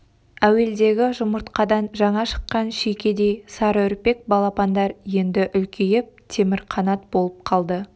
әуелдегі жұмыртқадан жаңа шыққан шүйкедей сарыүрпек балапандар енді үлкейіп темірқанат болып қалды